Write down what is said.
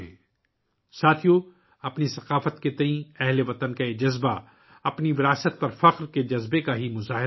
ساتھیو ، ہم وطنوں کا اپنے فن اور ثقافت کے تئیں یہ جوش و جذبہ 'اپنے ورثے پر فخر' کے احساس کا مظہر ہے